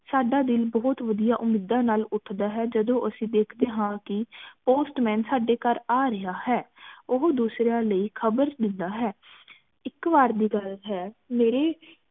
ਸਾਡਾ ਦਿਨ ਬਹੁਤ ਵਦੀਆਂ ਉਮੀਦਾਂ ਨਾਲ ਉੱਠਦਾ ਹੈ ਜਦੋ ਅਸੀਂ ਦੇਖਦੇ ਹਾਂ ਕਿ postman ਸਾਡੇ ਘਰ ਆ ਰਿਹਾ ਹੈ ਉਹ ਦੂਸਰਿਆਂ ਲਈ ਖ਼ਬਰ ਦੇਂਦਾ ਹੈ ਇਕ ਵਾਰ ਦੀ ਗੱਲ ਹੈ ਮੇਰੇ